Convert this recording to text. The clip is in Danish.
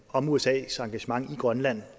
om usas engagement i grønland